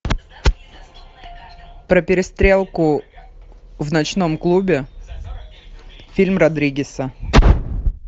про перестрелку в ночном клубе фильм родригеса